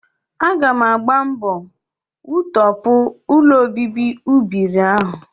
Aga m agba mbọ wutọpụ ụlọobibi ụbịrị ahụ